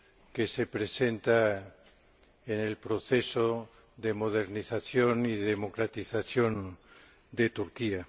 que se presenta en el proceso de modernización y democratización de Turquía.